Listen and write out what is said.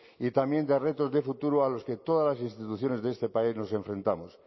y también de retos de futuro a los que todas las instituciones de este país nos enfrentamos